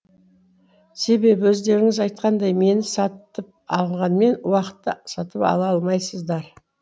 себебі өздеріңіз айтқандай мені сатып алғанмен уақытты сатып ала алмайсыздар